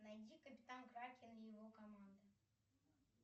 найди капитан кракен и его команда